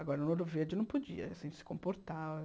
Agora, no Ouro Verde não podia, a gente se comportava.